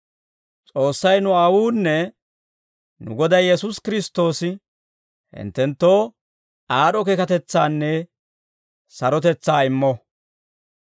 S'oossay nu Aawuunne nu Goday Yesuusi Kiristtoosi hinttenttoo aad'd'o keekatetsaanne sarotetsaa immo.